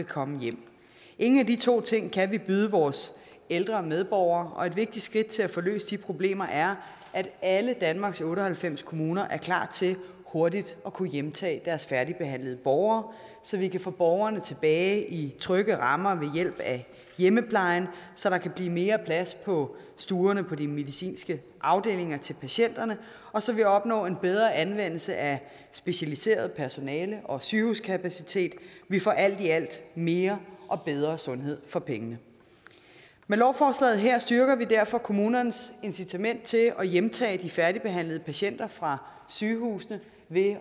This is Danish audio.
komme hjem ingen af de to ting kan vi byde vores ældre medborgere og et vigtigt skridt til at få løst de problemer er at alle danmarks otte og halvfems kommuner er klar til hurtigt at kunne hjemtage deres færdigbehandlede borgere så vi kan få borgerne tilbage i trygge rammer ved hjælp af hjemmeplejen så der kan blive mere plads på stuerne på de medicinske afdelinger til patienterne og så vi opnår en bedre anvendelse af specialiseret personale og sygehuskapacitet vi får alt i alt mere og bedre sundhed for pengene med lovforslaget her styrker vi derfor kommunernes incitament til at hjemtage de færdigbehandlede patienter fra sygehusene ved